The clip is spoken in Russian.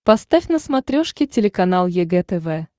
поставь на смотрешке телеканал егэ тв